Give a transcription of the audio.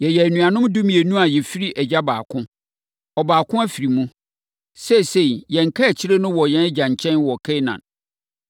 Yɛyɛ anuanom dumienu a yɛfiri agya baako. Ɔbaako afiri mu. Seesei, yɛn kaakyire no wɔ yɛn agya nkyɛn wɔ Kanaan.’